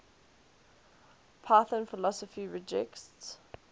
python philosophy rejects